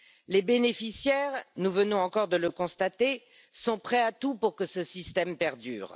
Les bénéficiaires, nous venons encore de le constater, sont prêts à tout pour que ce système perdure.